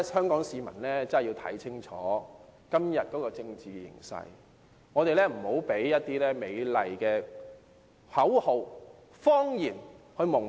香港市民真的要看清楚今天的政治形勢，不要被一些美麗的口號、謊言蒙騙。